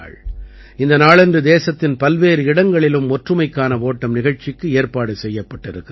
இந்த நாளன்று தேசத்தின் பல்வேறு இடங்களிலும் ஒற்றுமைக்கான ஓட்டம் நிகழ்ச்சிக்கு ஏற்பாடு செய்யப்பட்டிருக்கிறது